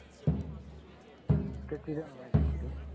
त्याची दयाणा माहिती थोडी